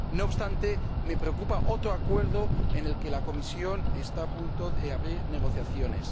No obstante, me preocupa otro acuerdo, respecto del que la Comisión está a punto de abrir negociaciones.